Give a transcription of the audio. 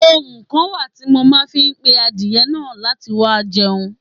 Ohùn kan wá ti mo ma fi n pe àdiẹ naà láti wá jẹun